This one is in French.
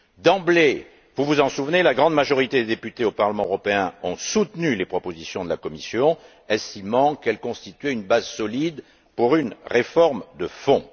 D'emblée, vous vous en souvenez, la grande majorité des députés au Parlement européen ont soutenu les propositions de la Commission estimant qu'elles constituaient une base solide pour une réforme de fond.